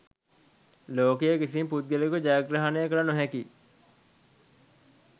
ලෝකයේ කිසිම පුද්ගලයකුට ජයග්‍රහණය කළ නොහැකි